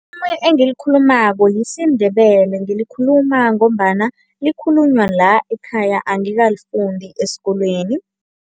Engilikhulumako yisiNdebele ngilikhuluma ngombana likhulunywa la ekhaya, angikalifundi esikolweni.